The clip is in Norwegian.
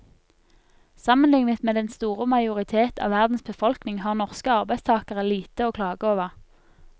Sammenlignet med den store majoritet av verdens befolkning har norske arbeidstagere lite å klage over.